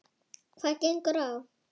Hvað gengur á?